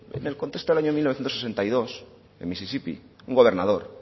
en el contexto del año mil novecientos sesenta y dos en mississippi un gobernador